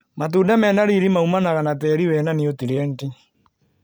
Matunda mena riri maumanaga na tĩri wĩna nutrienti.